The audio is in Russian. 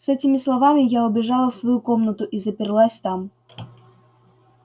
с этими словами я убежала в свою комнату и заперлась там